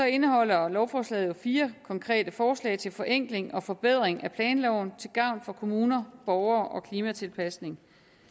indeholder lovforslaget jo fire konkrete forslag til forenkling og forbedring af planloven til gavn for kommuner borgere og klimatilpasning